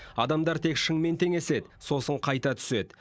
адамдар тек шыңмен теңеседі сосын қайта түседі